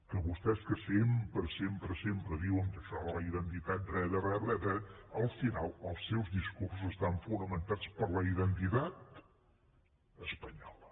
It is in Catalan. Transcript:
que vostès que sempre sempre sempre diuen que això de la identitat re de re al final els seus discursos estan fonamentats en la identitat espanyola